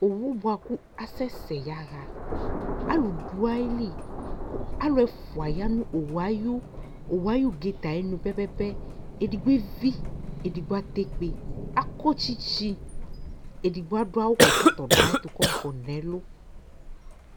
owʋ buakʋ asɛsɛɛ yahaa alʋ duayili alʋ ɛfʋa ayanu owuɛ dunulii pɛpɛpɛ edigbo evii edigbo atɛkpe akɔ tsitsi edigbo adu awu kɛ kɔtɔ du ayɛtʋ nɛ lʋ